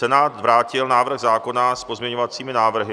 Senát vrátil návrh zákona s pozměňovacími návrhy.